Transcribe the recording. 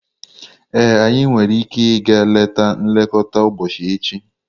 Ee, anyị nwere ike ịga leta nlekọta ụbọchị echi.